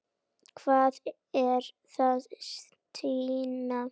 Hvað er að Stína?